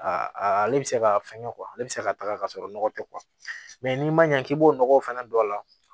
ale bɛ se ka fɛngɛ ale bɛ se ka taga ka sɔrɔ nɔgɔ tɛ n'i ma ɲɛ k'i b'o nɔgɔ fɛnɛ don a la